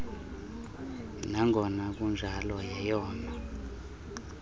nangona kunjalo yeyona